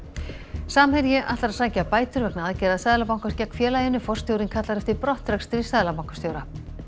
samherji ætlar að sækja bætur vegna aðgerða Seðlabankans gegn félaginu forstjórinn kallar eftir brottrekstri seðlabankastjóra